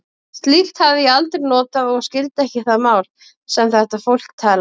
Slíkt hafði ég aldrei notað og skildi ekki það mál, sem þetta fólk talaði.